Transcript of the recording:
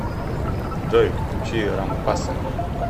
джой включи рампаса